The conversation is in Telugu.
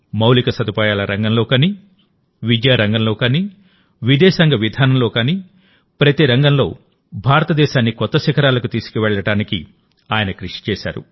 మౌలిక సదుపాయాల రంగంలో గానీ విద్యారంగంలోగానీ విదేశాంగ విధానంలో గానీ ప్రతి రంగంలో భారతదేశాన్ని కొత్త శిఖరాలకు తీసుకెళ్లడానికి ఆయన కృషి చేశారు